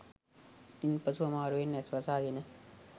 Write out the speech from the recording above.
ඉන් පසු අමාරුවෙන් ඇස් වසා ගෙන